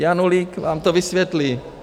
Janulík vám to vysvětlí.